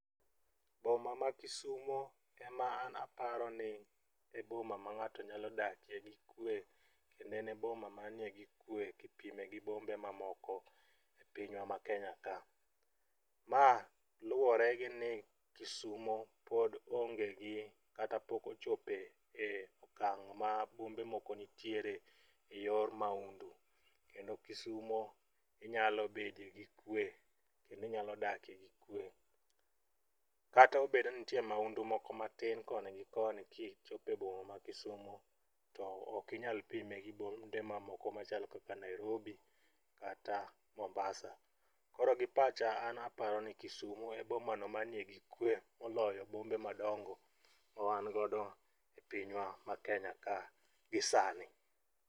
Boma ma isumo ema an aparo ni e boma ma ng'ato nyalo dakie gi kwe kendo en e boma manie gi kwe kipime gi bombe mamoko e pinywa ma Kenya ka. Ma luwore gi ni Kisumo pod onge gi kata pok ochope e okang' ma bombe moko nitiere e yor maundu kendo Kisumo inyalo bede gikwe kendo inyalo dake gi kwe. Kata obed ni nitie maundu moko matin koni gi koni kichopo e boma ma Kisumo, to ok inyal pime gi bombe mamoko kaka Nairobi kata Mombasa. Koro gi pacha an aparo ni Kisumo e bomano manie gi kwe moloyo bombe madongo ma wangodo e pinywa ma Kenya ka gi sani.